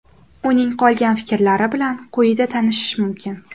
Uning qolgan fikrlari bilan quyida tanishish mumkin.